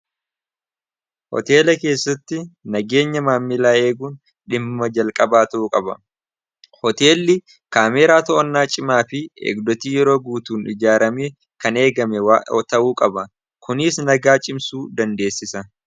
Hoteela keessatti nageenya maammilaa eeguun dhimma jalqabaa ta'uu qaba. Hoteelli kaameeraa to'onnaa cimaa fi eegdotii yeroo guutuun ijaaramee kan eegame ta'uu qaba kuniis nagaa cimsuu dandeessisa.